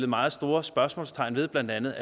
meget store spørgsmålstegn ved af blandt andet